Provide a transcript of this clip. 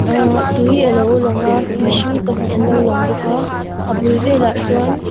ahh tui alo lang a mihring pahnih an lo lang bawka a bul vel ah chuan.